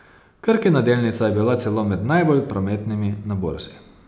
Krkina delnica je bila celo med najbolj prometnimi na borzi.